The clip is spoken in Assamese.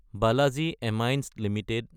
বালাজী এমাইন্স এলটিডি